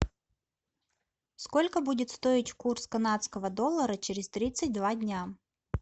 сколько будет стоить курс канадского доллара через тридцать два дня